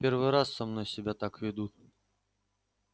в первый раз со мной себя так ведут